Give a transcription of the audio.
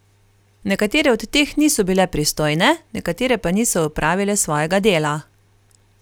Nekatere od teh niso bile pristojne, nekatere pa niso opravile svojega dela.